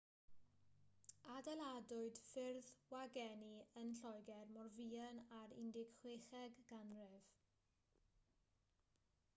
adeiladwyd ffyrdd wagenni yn lloegr mor fuan â'r 16eg ganrif